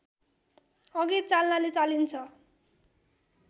अघि चाल्नाले चालिन्छ